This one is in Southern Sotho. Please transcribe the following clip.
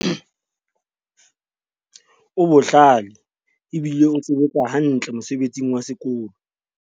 o bohlale ebile o sebetsa hantle mosebetsing wa sekolo